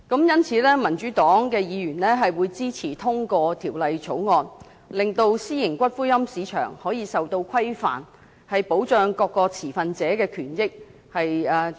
因此，民主黨議員會支持通過《條例草案》，令私營龕場的市場受到規範，重新納入正軌，保障各個持份者的權益。